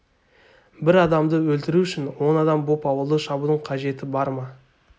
бір адамды өлтіру үшін он адам боп ауылды шабудың қажеті бар ма